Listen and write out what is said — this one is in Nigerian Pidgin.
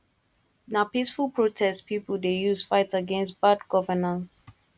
na peaceful protest pipo dey use fight against bad governance